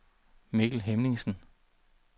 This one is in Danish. Mikkel Hemmingsen